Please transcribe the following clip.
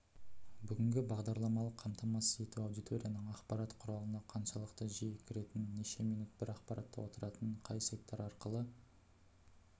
бүгінгі бағдарламалық қамтамасыз ету аудиторияның ақпарат құралына қаншалықты жиі кіретінін неше минут бір ақпаратта отыратынын қай сайттар арқылы